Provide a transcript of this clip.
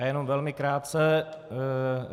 Já jen velmi krátce.